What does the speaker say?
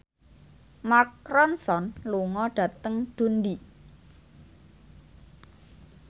Mark Ronson lunga dhateng Dundee